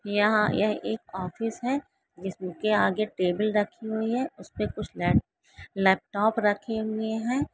यह यह एक ऑफिस है जिसके आगे टेबल रखी हुई है उसपे कुछ लै लैपटॉप रखे हुए है।